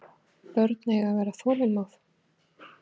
Börn eiga að vera þolinmóð.